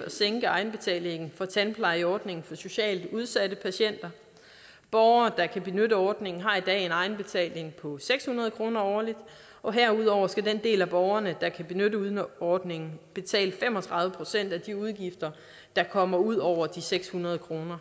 at sænke egenbetalingen i tandplejeordningen for socialt udsatte patienter borgere der kan benytte ordningen har i dag en egenbetaling på seks hundrede kroner årligt og herudover skal den del af borgerne der kan benytte ordningen betale fem og tredive procent af de udgifter der kommer ud over de seks hundrede kroner